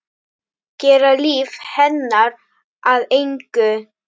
Gera líf hennar að engu.